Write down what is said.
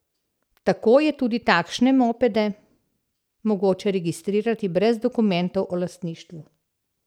Tako je tudi takšne mopede mogoče registrirati brez dokumentov o lastništvu.